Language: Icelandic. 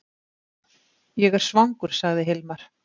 Ég er svangur, sagði Hilmar.